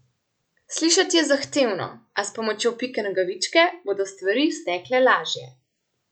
Slišati je zahtevno, a s pomočjo Pike Nogavičke bodo stvari stekle lažje.